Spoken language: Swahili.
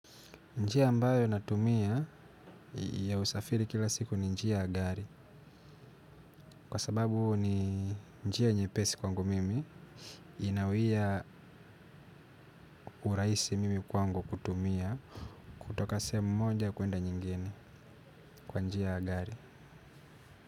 Njia ambayo natumia ya usafiri kila siku ni njia ya gari. Kwa sababu ni njia nyepesi kwangu mimi. Inawia urahisi mimi kwangu kutumia. Kutoka sehemu moja kuenda nyingine kwa njia ya gari.